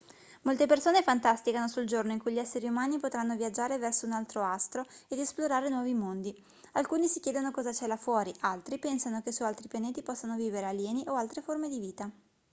molte persone fantasticano sul giorno in cui gli esseri umani potranno viaggiare verso un altro astro ed esplorare nuovi mondi alcuni si chiedono cosa c'è là fuori altri pensano che su altri pianeti possano vivere alieni o altre forme di vita